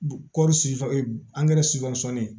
Kɔɔri sifa angɛrɛ sifɔri sumanin